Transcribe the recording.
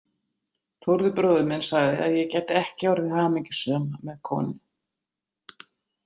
Þórður bróðir minn sagði að ég gæti ekki orðið hamingjusöm með konu.